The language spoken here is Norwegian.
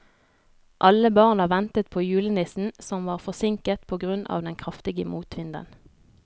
Alle barna ventet på julenissen, som var forsinket på grunn av den kraftige motvinden.